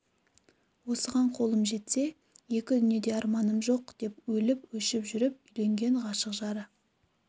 осыған қолым жетсе екі дүниеде арманым жоқ деп өліп-өшіп жүріп үйленген ғашық жары